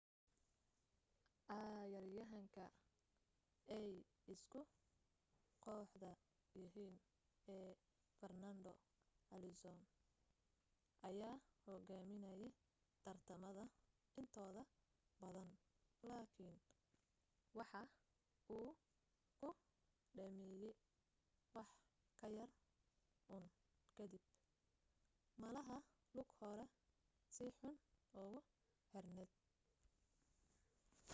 cayaaryahanka ay isku kooxda yihiin ee farnando alonso ayaa hogaaminaye tartamada intooda badan laakin waxa uu ku dhameeye wax yar un kadib malaha lug horaa si xun ugu xirneed